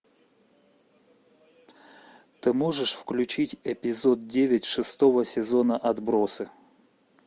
ты можешь включить эпизод девять шестого сезона отбросы